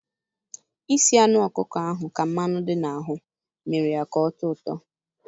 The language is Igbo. Isi anụ ọkụko ahụ ka mmanụ dị na ahụ mmere ya ka ọ tọọ ụtọ